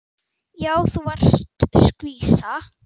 Já, þú varst skvísa.